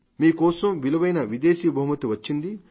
మీ కోసం విలువైన విదేశీ బహుమతి వచ్చింది